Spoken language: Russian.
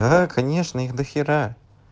да конечно их дохера